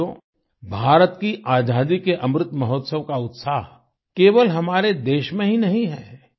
साथियो भारत की आजादी के अमृत महोत्सव का उत्साह केवल हमारे देश में ही नहीं है